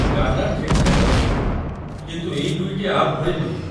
ଗାନା ଠିକ୍ ଠାକ୍ ଅଛି, କିନ୍ତୁ ଏଇ ଦୁଇଟି ଆପ୍ ଭଳି ନୁହେଁ।